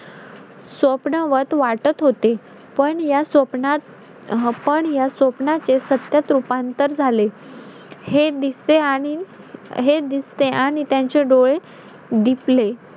आंबे ,गरीक, फणस खायला भेटतात त्याच्यामुळे मे मध्ये सर्व लोकं गावी जातात आमच्या मालवणला. मालवण च कस असत एकदम सुंदर बघण्यासारखं दृष ये.